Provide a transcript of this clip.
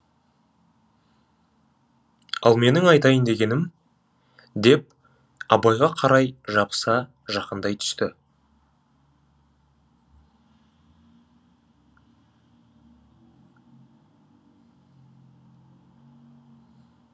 ал менің айтайын дегенім деп абайға қарай жабыса жақындай түсті